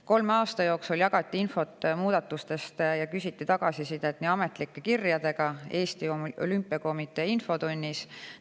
Kolme aasta jooksul jagati infot muudatustest ja küsiti tagasisidet nii ametlike kirjadega kui ka Eesti Olümpiakomitee infotunnis.